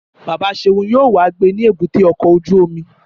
Bàbá Seun yóò wá gbé ní èbúté ọkọ̀ ojú omi